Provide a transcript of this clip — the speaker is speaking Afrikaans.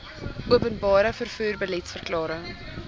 openbare vervoer beliedsverklaring